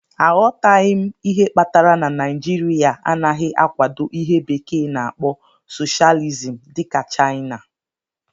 Aghọtaghị m ihe kpatara na Naijiria anaghị akwado ihe bekee na-akpo socialism dị ka Chaina.